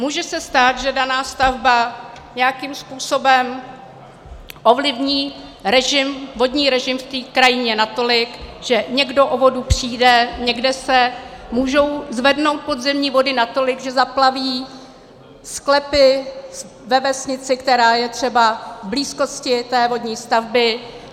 Může se stát, že daná stavba nějakým způsobem ovlivní vodní režim v té krajině natolik, že někdo o vodu přijde, někde se mohou zvednout podzemní vody natolik, že zaplaví sklepy ve vesnici, která je třeba v blízkosti té vodní stavby.